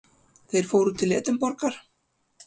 Þeir fóru til Edinborgar.